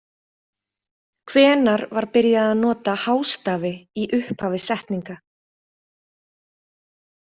Hvenær var byrjað að nota hástafi í upphafi setninga?